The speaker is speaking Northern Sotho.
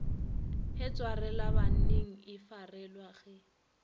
ge tswalelabanning e farelwa ge